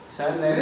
Sənin nəyindir?